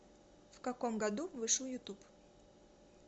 в каком году вышел ютуб